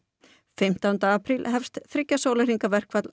fimmtánda apríl hefst þriggja sólarhringa verkfall